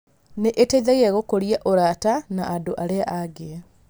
Nĩ iteithagia gũkũria ũrata na andũ arĩa angĩ.